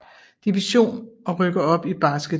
Division og rykke op i Basketligaen